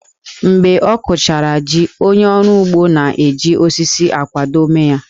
Mgbe a kụchara jí, onye ọrụ ugbo na-eji osisi akwado ómé ya